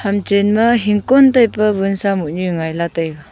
hamchen ma hikon taipe wunsa mohnu ngai lah taiga.